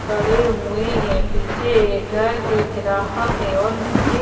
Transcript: खड़े हुए हैं पीछे एक घर दिख रहा है और नीचे--